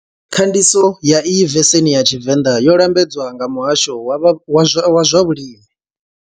Khandiso ya iyi veseni ya tshivenḓa yo lambedzwa nga muhasho wa zwa vhulimi.